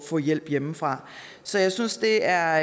få hjælp hjemmefra så jeg synes det er